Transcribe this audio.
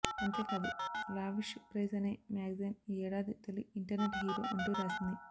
అంతేకాదు lavish prize అనే magazine ఈ ఏడాది తొలి ఇంటర్నెట్ హీరో అంటూ రాసింది